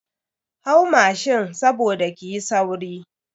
Hau mashin saboda kiyi sauri.